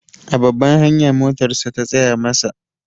A babbar hanya motarsa ta tsaya masa.